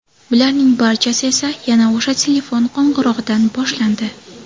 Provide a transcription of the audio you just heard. Bularning barchasi esa yana o‘sha telefon qo‘ng‘irog‘idan boshlandi.